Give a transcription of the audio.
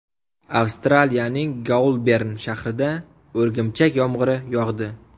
Avstraliyaning Goulbern shahrida o‘rgimchak yomg‘iri yog‘di.